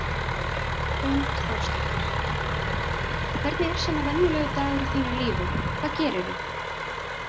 Hrund Þórsdóttir: Hvernig er svona venjulegur dagur í þínu lífi, hvað gerirðu?